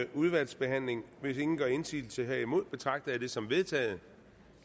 udvalgsbehandling hvis ingen gør indsigelse herimod betragter jeg det som vedtaget